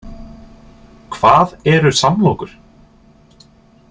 Hvað eru samlokur?